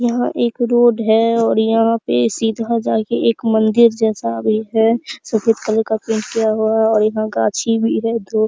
यह एक रोड है और यहाँ पे सीधा जा के एक मंदिर जैसा भी है सफ़ेद कलर का पेंट किया हुआ और यहाँ गाछी भी है दो।